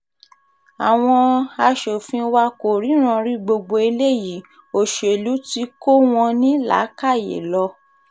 àwọn aṣòfin wa kò ríran rí gbogbo eléyìí òṣèlú tí kò wọ́n ní làákàyè lọ